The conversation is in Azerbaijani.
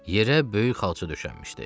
Yere böyük xalça döşənmişdi.